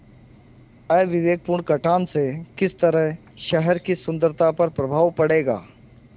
अविवेकपूर्ण कटान से किस तरह शहर की सुन्दरता पर प्रभाव पड़ेगा